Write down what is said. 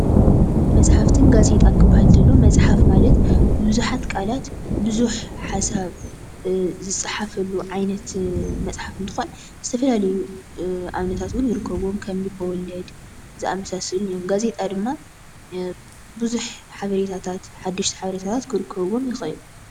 መፃሕፍትን ጋዜጣን ክበሃል ከሎ መፅሓፍ ማለት ቡዙሓት ቃላት ቡዝሕ ሓሳብ ዝፀሓፈሉ ዓይነት መፅሓፍ እንትኮን ዝተፈላለዩ ኣብነታት እዉን ይርከብዎም፡፡ ከም ልበወለድ ዘኣመሳሰሉን እዮም፡፡ ጋዜጣ ድማ ብዙሕ ሓበሬታታት ሓደሽቲ ሓበሬታታት ክርከብዎም ይክእል፡፡